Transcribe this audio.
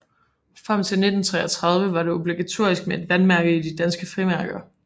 Frem til 1933 var det obligatorisk med et vandmærke i danske frimærker